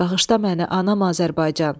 Bağışla məni, anam Azərbaycan!